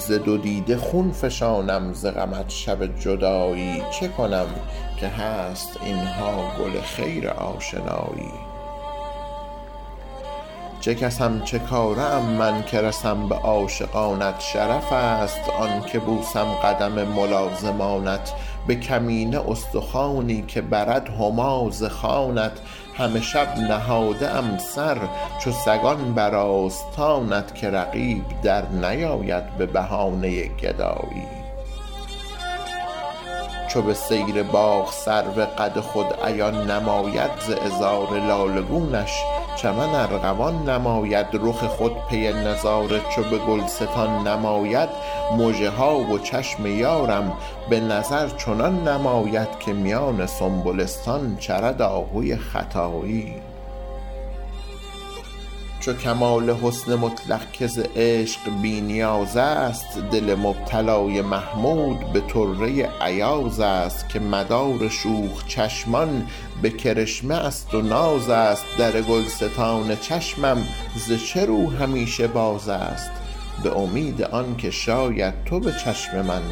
ز دو دیده خون فشانم ز غمت شب جدایی چه کنم که هست اینها گل خیر آشنایی همه شب نهاده ام سر چو سگان بر آستانت که رقیب در نیاید به بهانه گدایی مژه ها و چشم یارم به نظر چنان نماید که میان سنبلستان چرد آهوی ختایی در گلستان چشمم ز چه رو همیشه باز است به امید آنکه شاید تو به چشم من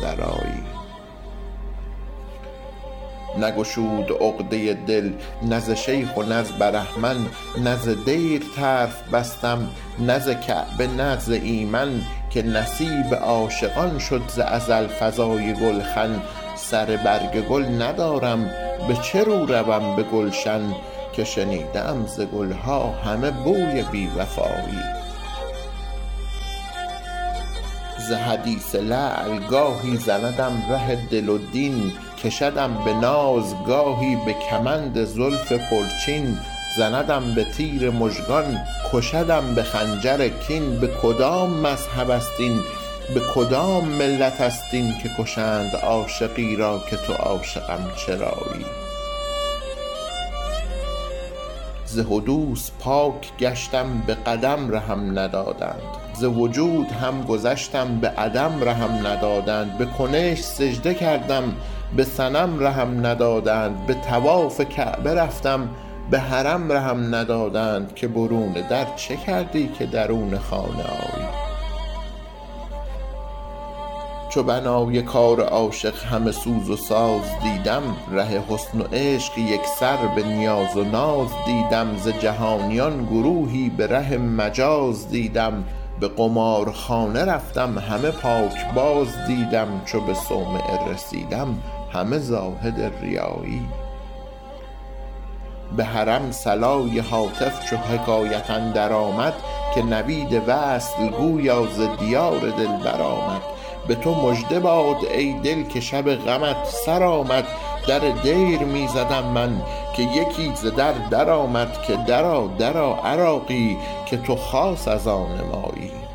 درآیی سر برگ گل ندارم به چه رو روم به گلشن که شنیده ام ز گلها همه بوی بی وفایی به کدام مذهب است این به کدام ملت است این که کشند عاشقی را که تو عاشقم چرایی به طواف کعبه رفتم به حرم رهم ندادند که برون در چه کردی که درون خانه آیی به قمارخانه رفتم همه پاکباز دیدم چو به صومعه رسیدم همه زاهد ریایی در دیر می زدم من که یکی ز در در آمد که درآ درآ عراقی که تو خاص از آن مایی